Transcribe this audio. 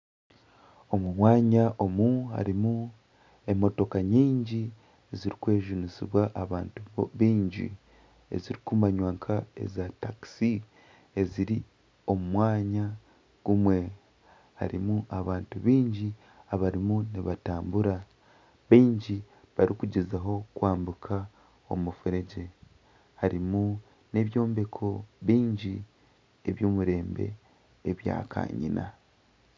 Omu mwanya omu harimu emotoka nyingi zirikwejunisibwa abantu bingi ezirikumanywa nka eza takisi eziri omu mwanya gumwe harimu abantu bingi abarimu nibatambura bingi barikugyezaho kwabuka omufuregye harimu n'ebyombeko byingi eby'omurembe ebya kanyina.